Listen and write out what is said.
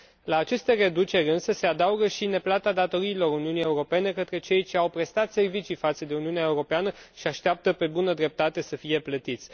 La aceste reduceri, însă, se adaugă și neplata datoriilor Uniunii Europene către cei ce au prestat servicii față de Uniunea Europeană și așteaptă, pe bună dreptate, să fie plătiți.